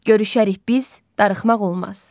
Görüşərik biz, darıxmaq olmaz.